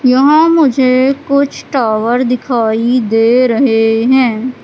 यहां मुझे कुछ टावर दिखाई दे रहे हैं।